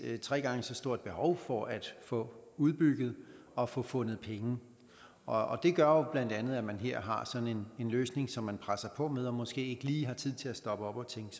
et tre gange så stort behov for at få udbygget og få fundet penge og det gør bla at man her har en løsning som man presser på med og måske ikke lige har tid til at stoppe